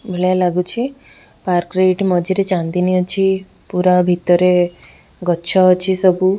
ଭଳିଆ ଲାଗୁଛି ପାର୍କ ରେ ଏଇଠି ମଝିରେ ଚାନ୍ଦିନୀ ଅଛି ପୁରା ଭିତରେ ଗଛ ଅଛି ସବୁ।